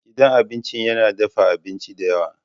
Gidan abinci yana dafa abinci da yawa.